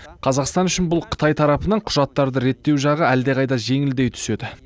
қазақстан үшін қытай тарапынан құжаттарды реттеу жағы әлдеқайда жеңілдей түседі